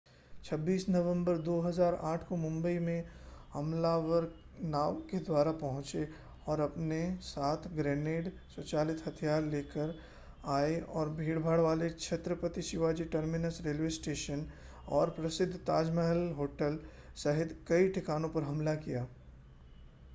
26 नवम्बर 2008 को मुंबई के हमलावर नाव के द्वारा पहुंचे और अपने साथ ग्रेनेड स्वचालित हथियार लेकर आए और भीड़भाड़ वाले Chhatrapati Shivaji Terminus railway station और प्रसिद्ध ताज महल होटल सहित कई ठिकानों पर हमला किया